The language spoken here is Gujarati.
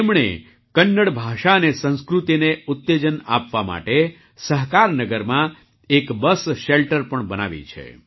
તેમણે કન્નડ ભાષા અને સંસ્કૃતિને ઉત્તેજન આપવા માટે સહકારનગરમાં એક બસ શેલ્ટર પણ બનાવી છે